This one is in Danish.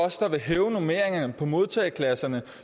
os der vil hæve normeringerne i modtagerklasserne